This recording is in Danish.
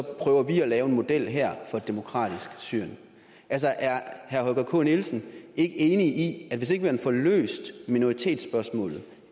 prøver vi at lave en model her for et demokratisk syrien altså er herre holger k nielsen ikke enig i at hvis ikke man får løst minoritetsspørgsmålet